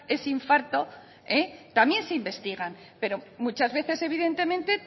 ese infarto también se investigan pero muchas veces evidentemente